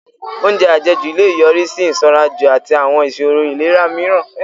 Oúnjẹ àjẹjù lè yọrí sí ìsanranjù àti àwọn ìṣòro ìlera mìíràn